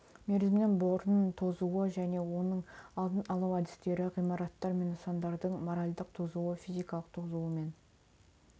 мерзімінен бұрын тозуы және оның алдын алу әдістері ғимараттар мен нысандардың моральдық тозуы физикалық тозуы мен